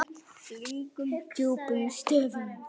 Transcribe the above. Löngum djúpum stöfum.